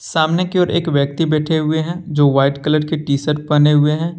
सामने की ओर एक व्यक्ति बैठे हुए हैं जो व्हाइट कलर के टी शर्ट पहने हुए हैं।